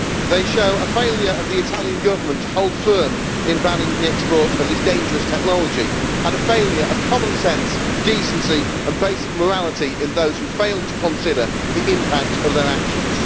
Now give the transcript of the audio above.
They show a failure by the Italian Government to hold firm on banning the export of this dangerous technology, and a failure of common sense, decency and basic morality in those who failed to consider the impact of their actions.